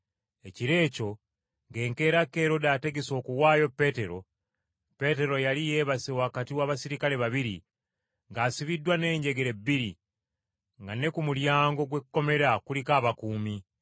Ekiro ekyo, ng’enkeera Kerode ategese okuwaayo Peetero, Peetero yali yeebase wakati w’abaserikale babiri, ng’asibiddwa n’enjegere bbiri, nga ne ku mulyango gw’ekkomera kuliko abakuumi.